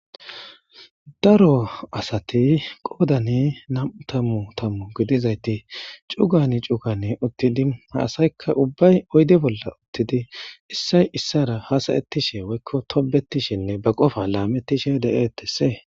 daro asati qoodani nam7u tammu tammu gidizayti cugani cugani uttidi haasaykka ubbay oyde bolla uttidi issay issara hasayettishe woykko tobetishinne ba qofa laamettishe de7eettessee